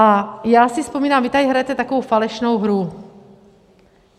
A já si vzpomínám - vy tady hrajete takovou falešnou hru.